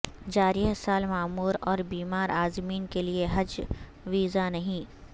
جاریہ سال معمر اور بیمار عازمین کے لیے حج ویزا نہیں